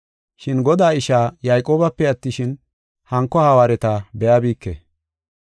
Shin Godaa ishaa Yayqoobape attishin, hanko hawaareta be7abike.